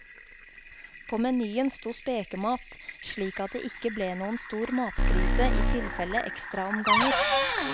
På menyen sto spekemat, slik at det ikke ble noen stor matkrise i tilfelle ekstraomganger.